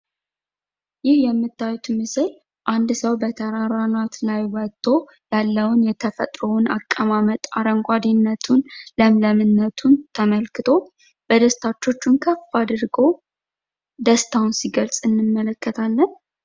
ይህ የምታዩት ምስል አንድ ሰው በተራራ አናት ላይ ወጥቶ ያለውን የተፈጥሮ አቀማመጥ አረንጓዴኘቱን ለምለምነቱን ተመልክቶ በደስታ እጆቹን ከፍ አድርጎ ደስታውን ሲገልጥ እንመለከታለን።